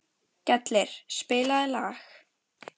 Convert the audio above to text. Gellir, spilaðu lag.